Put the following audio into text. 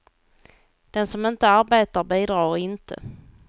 Den som inte arbetar bidrar inte.